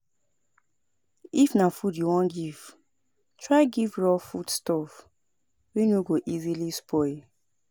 If na food you won give try give raw foods stuff wey no go easily spoil